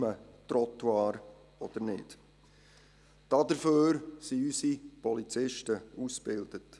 Dafür sind unsere Polizisten ausgebildet.